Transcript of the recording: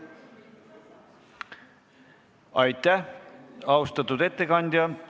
Aitäh, austatud ettekandja!